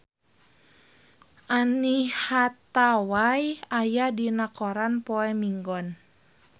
Anne Hathaway aya dina koran poe Minggon